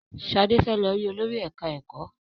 Shade fè ló rí Olórí ẹka ẹkọ.